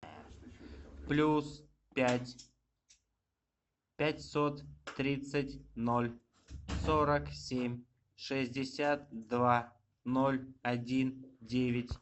плюс пять пятьсот тридцать ноль сорок семь шестьдесят два ноль один девять